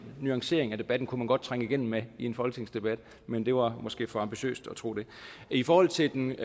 nuancering af debatten kunne man godt trænge igennem med i en folketingsdebat men det var måske for ambitiøst at tro det i forhold til den